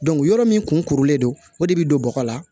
yɔrɔ min kun kurulen don o de bi don bɔgɔ la